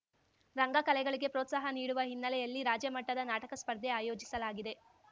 ರಂಗ ಕಲೆಗಳಿಗೆ ಪ್ರೋತ್ಸಾಹ ನೀಡುವ ಹಿನ್ನೆಲೆಯಲ್ಲಿ ರಾಜ್ಯ ಮಟ್ಟದ ನಾಟಕ ಸ್ಪರ್ಧೆ ಆಯೋಜಿಸಲಾಗಿದೆ